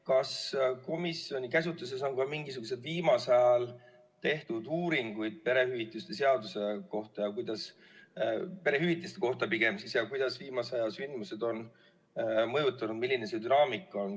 Kas komisjoni käsutuses on ka mingisuguseid viimasel ajal tehtud uuringuid perehüvitiste kohta, et kuidas viimase aja sündmused on seda mõjutanud, milline on see dünaamika?